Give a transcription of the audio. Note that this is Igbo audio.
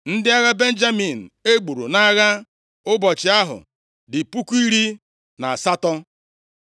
Ndị agha Benjamin e gburu nʼagha ụbọchị ahụ dị puku iri na asatọ.